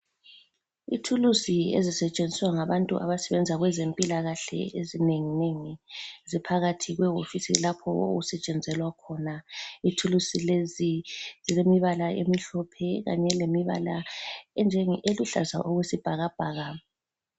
Ithuluzi ezisetshenziswa ngabantu abasebenza kwezempilakahle ezinenginengi ziphakathi kwewofisi lapho okusetshenzelwa khona. Ithuluzi lezi zilemibala emhlophe kanye lemibala enjenge eluhlaza okwesibhakabhaka.